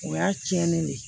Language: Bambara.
O y'a tiɲɛnen ne ye